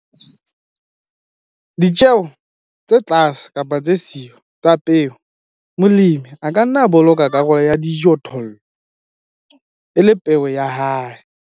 Ditjeo tse tlase kapa tse siyo tsa peo. Molemi a ka nna a boloka karolo ya dijothollo e le peo ya hae.